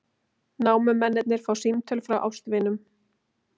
Námumennirnir fá símtöl frá ástvinum